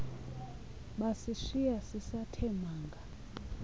basishiya sisathe manga